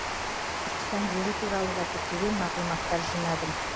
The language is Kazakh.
түркістан жері туралы да көптеген мағлұматтар жинадым